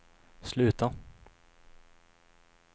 sluta